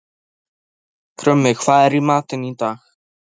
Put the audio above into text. Kristberg, hvaða mánaðardagur er í dag?